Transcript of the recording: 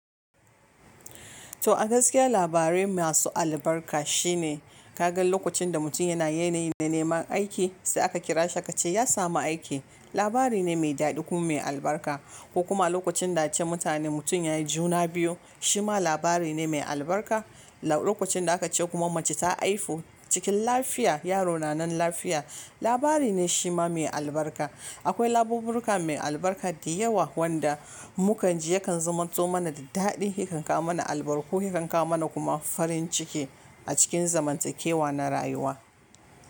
To a gaskiya labarai masu albarka shine kaga lokacin da mutum yana yanayi na neman aiki sai aka kira shi ka ce ya samu aiki labari ne mai daɗi kuma mai albarka. Ko kuma lokacin da ace mutane mutum ya yi juna biyu shima labari ne mai albarka. Lokacin da aka ce kuma mace ta haifu cikin lafiya, yaro na nan lafiya labari ne shi ma mai albarka. Akwai labobirka mai albarka da yawa wanda muka ji yakan zumato mana da daɗi, yakan kawo mana albarka ko yakan kawo mana kuma farin ciki a cikin zamantakewa na rayuwa.